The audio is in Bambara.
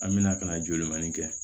An bɛna ka na jolimani kɛ